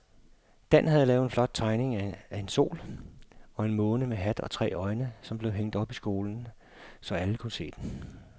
Dan havde lavet en flot tegning af en sol og en måne med hat og tre øjne, som blev hængt op i skolen, så alle kunne se den.